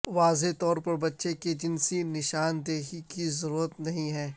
واضح طور پر بچے کی جنسی نشاندہی کی ضرورت نہیں ہے